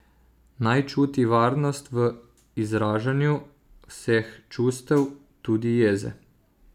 Naj čuti varnost v izražanju vseh čustev, tudi jeze.